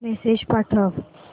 message पाठव